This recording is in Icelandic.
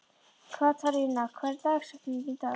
Katharina, hver er dagsetningin í dag?